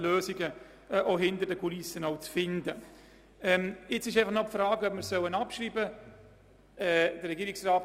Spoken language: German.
Nun besteht noch die Frage, ob wir diese Motion abschreiben wollen.